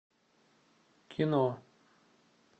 кино